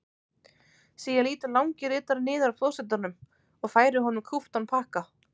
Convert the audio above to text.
Síðan lýtur langi ritarinn niður að forsetanum og færir honum kúptan pakka.